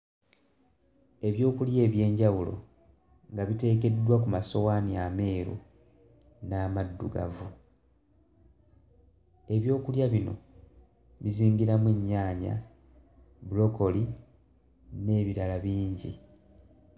Ebyokulya eby'enjawulo nga biteekeddwa ku masowaani ameeru n'amaddugavu ebyokulya bino bizingiramu ennyaanya bulokoli n'ebirala bingi.